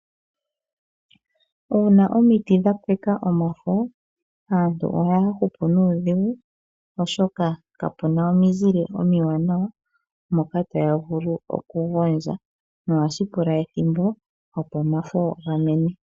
Uuna omiti dhapeka omafo aantu ohaya hupu nuudhigu oshoka kapuna omizile omiwanawa moka taya vulu okugondja no hashi pula ethimbo opo omafo gamene.